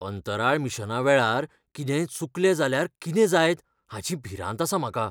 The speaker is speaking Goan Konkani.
अंतराळ मिशनावेळार कितेंय चुकलें जाल्यार कितें जायत हाची भिरांत आसा म्हाका.